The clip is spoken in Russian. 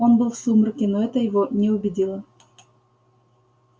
он был в сумраке но это его не убедило